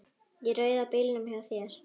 Í rauða bílnum hjá þér.